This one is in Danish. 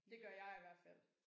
Det gør jeg i hvert fald